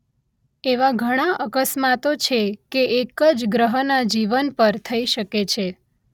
એવા ઘણા અકસ્માતો છે કે એક જ ગ્રહના જીવન પર થઇ શકે છે